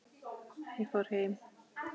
Ég fór heim.